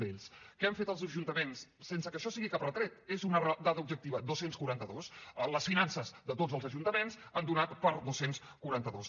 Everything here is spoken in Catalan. què han fet els ajuntaments sense que això sigui cap retret és una dada objectiva dos cents i quaranta dos les finances de tots els ajuntaments han donat per a dos cents i quaranta dos